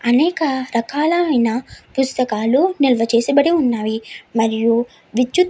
అనేక రకాలైన పుస్తకాలు నిల్వ చేసి బడి ఉన్నది. మరియు విద్యుత్ --